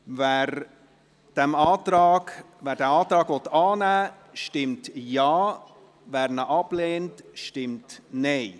Wer diesen Antrag annehmen will, stimmt Ja, wer diesen ablehnt, stimmt Nein.